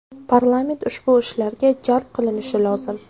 Parlament ushbu ishlarga jalb qilinishi lozim.